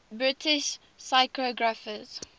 british cryptographers